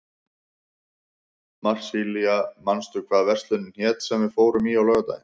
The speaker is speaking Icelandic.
Marsilía, manstu hvað verslunin hét sem við fórum í á laugardaginn?